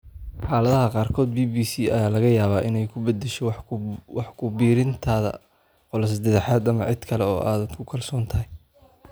Xaaladaha qaarkood BBC ayaa laga yaabaa inay ku beddesho wax ku biirintaada qolo saddexaad ama cid kale oo aad ku kalsoon tahay.